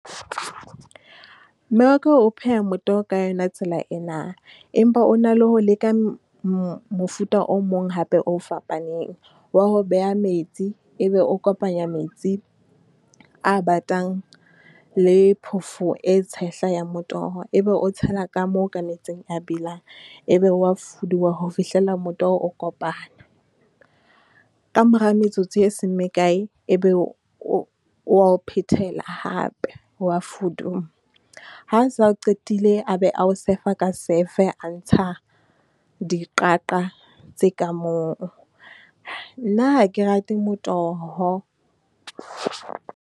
Mme wa ka o pheha motoho ka yona tsela ena. Empa o na le ho leka mofuta o mong hape o fapaneng wa ho beha metsi. E be o kopanya metsi a batang, le phofo e tshehla ya motoho. E be o tshela ka moo ka metsing a belang, E be o wa fuduwa ho fihlea motoho o kopana. Ka mora metsotso e seng mekae, e be o wa ho phethela hape, o wa fuduwa. Ha a se a qetile a be a ho sefa ka safe a ntsha diqaqa tse ka moo. Nna ha ke rate motoho.